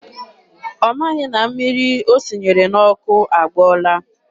Ọ maghị na mmiri o sinyere n'ọkụ agbọọla.